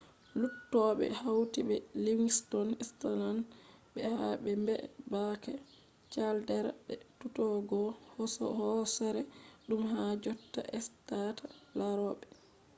luttube hauti be livingston island be ha be mbeebake caldera be tutugo hoosere dum ha jotta estata larobe